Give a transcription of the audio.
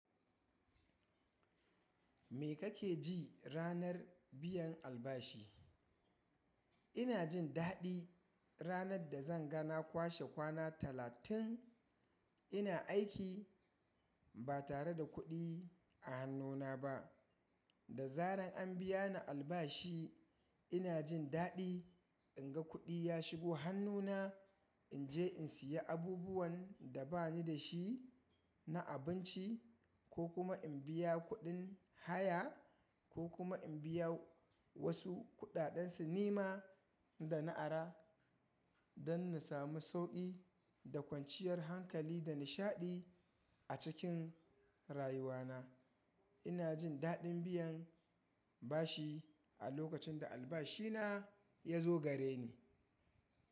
Me kake ji ranar biyan albashi? Ina jin daɗi ranar da zan ga na kwashe kwana talatin ina aiki ba tare da kuɗi a hannuna ba. Da zaran an biya ni albashi ina jin daɗi in ga kuɗi ya shigo hannuna, in je in siya abubuwan da ba ni da shi na abinci ko kuma in biya kuɗin haya ko kuma in biya wasu kuɗaɗen sinima da na ara don na samu sauƙi da kwanciyar hankali da nishaɗi a cikin rayuwana. Ina jin daɗin biyan bashi a lokacin da albashina ya zo gare ni.